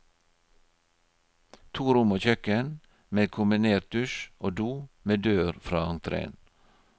To rom og kjøkken, med kombinertdusj og do med dør fra entreen.